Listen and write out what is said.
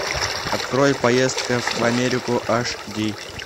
открой поездка в америку аш ди